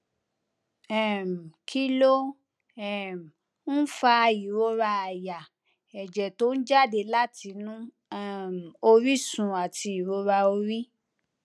um kí ló um ń fa ìrora àyà èjè tó ń jáde látinú um orísun àti ìrora orí